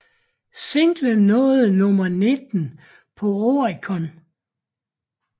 Singlen nåede nummer 19 på Oricon